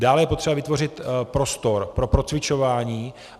Dále je potřeba vytvořit prostor pro procvičování.